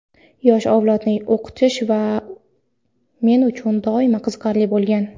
yosh avlodni o‘qitish men uchun doimo qiziqarli bo‘lgan.